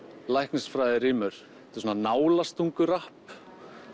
læknisfræði rímur þetta er svona nálastungurapp